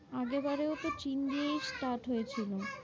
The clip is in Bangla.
আগের বারেও তো চীন দিয়েই start হয়েছিল।